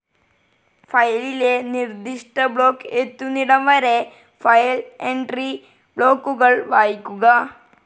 ഫയലിലെ നിർദ്ദിഷ്ട ബ്ലോക്ക്‌ എത്തുന്നിടംവരെ ഫയൽ എൻട്രി ബ്ലോക്കുകൾ വായിക്കുക.